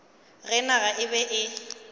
ge naga e be e